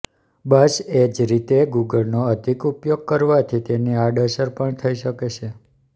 બસ એજ જ રીતે ગુગળનો અધિક ઉપયોગ કરવાથી તેની આડઅસર પણ થઇ શકે છે